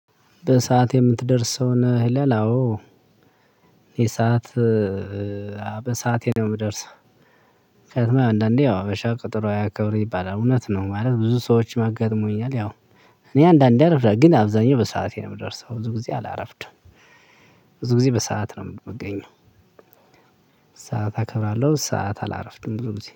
በሰአት የምትደርሰው ነህ? አወ የሰዓት በሰአቴ ነው የምደርሰው። ከዛ አንዳንዴ ያው ሀበሻ ቀጠሮ አያከብር ይባላል እውነት ነው። ማለት ብዙ ሰዎች አጋጥሞኛል። ያው እኔ አንዳንደየ አረፍዳለሁ ግን አብዘሀኛው በሰአቴ ነው የምደርሰው። ብዙ ግዜ አላረፍድም። ብዙ ግዜ በሰአት ነው የምገኘው። ሰዓት አከብራለሁ ሰዓት አላረፍድም ሁልጊዜ